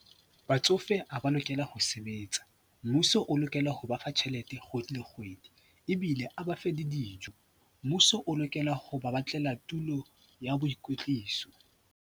Batsofe ha ba lokela ho sebetsa. Mmuso o lokela ho ba fa tjhelete kgwedi le kgwedi ebile a ba fe le dijo. Mmuso o lokela ho ba batlela tulo ya boikwetliso.